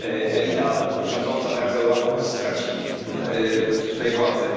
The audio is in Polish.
elita rządząca teraz Europą straci tutaj władzę.